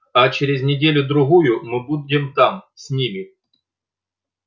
а через неделю-другую мы будем там с ними